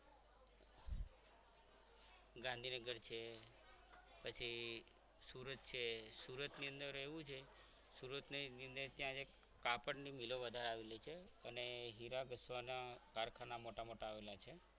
ગાંધીનગર છે પછી સુરત છે સુરતની અંદર એવું છે સુરતની અંદર ત્યાં એક કાપડની મિલો વધારે આવેલી હોય છે અને હીરા ઘસવાના કારખાના મોટા મોટા આવેલા છે.